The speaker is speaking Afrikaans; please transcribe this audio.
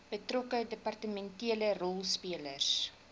betrokke departementele rolspelers